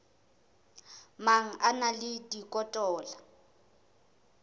mang a na le dikotola